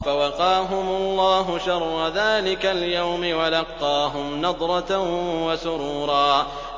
فَوَقَاهُمُ اللَّهُ شَرَّ ذَٰلِكَ الْيَوْمِ وَلَقَّاهُمْ نَضْرَةً وَسُرُورًا